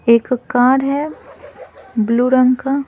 एक कार है ब्लू रंग का--